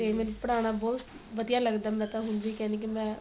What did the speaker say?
ਤੇ ਮੈਨੂੰ ਪੜਾਣਾ ਬਹੁਤ ਵਧੀਆ ਲੱਗਦਾ ਮੈਂ ਹੁਣ ਵੀ ਕਹਿੰਦੀ ਕੀ ਮੈਂ